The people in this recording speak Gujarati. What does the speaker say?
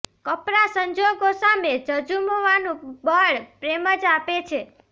કપરા સંજોગો સામે ઝઝૂમવાનું બળ પ્રેમ જ આપે છે